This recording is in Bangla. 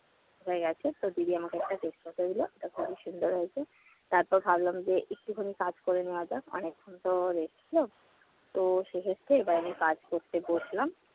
হয়ে গেছে। তো দিদি আমাকে একটা তেজপাতা দিল। এক হালি সিংগারা হয়েছে। তারপর ভাবলাম যে একটুখানি কাজ করে নেওয়া যাক, অনেকক্ষণতো rest ছিল। তো সেক্ষেত্রে এবার আমি কাজ করতে বসলাম।